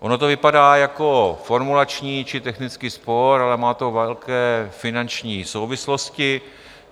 Ono to vypadá jako formulační či technický spor, ale má to velké finanční souvislosti.